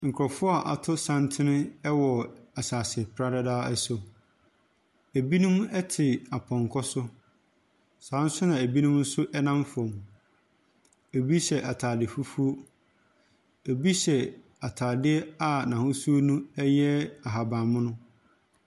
Nkurɔfoɔ a wɔato santene wɔ asase pradadaa so. Ɛbinom te apɔnkɔ so. Saa ara nso na binom nso nam fam. Ɛbi hyɛ atade fufuo. Ɛbi hyɛ atadeɛ a n'ahosuo no yɛ ahabammono.